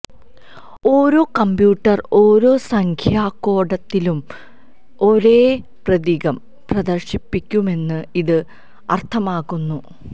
ഓരോ കമ്പ്യൂട്ടർ ഓരോ സംഖ്യാ കോഡത്തിനും ഒരേ പ്രതീകം പ്രദർശിപ്പിക്കുമെന്ന് ഇത് അർത്ഥമാക്കുന്നു